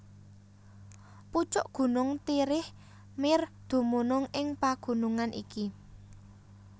Pucuk gunung Tirich Mir dumunung ing pagunungan iki